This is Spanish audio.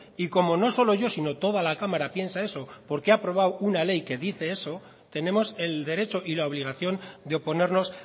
y como no solo yo sino toda la cámara piensa eso porque ha aprobado una ley que dice eso tenemos el derecho y la obligación de oponernos